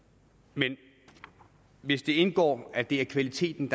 men hvis det indgår at det er kvaliteten